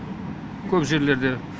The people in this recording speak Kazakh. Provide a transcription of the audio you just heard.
көп жерлерде